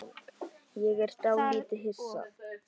Ég er dálítið hissa.